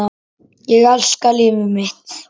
Ég elska líf mitt.